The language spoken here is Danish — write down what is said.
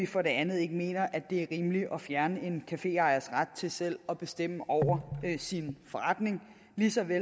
for det andet mener vi ikke det er rimeligt at fjerne en caféejers ret til selv at bestemme over sin forretning ligesom vi